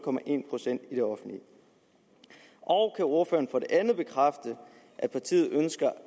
procent i det offentlige og kan ordføreren for det andet bekræfte at partiet ønsker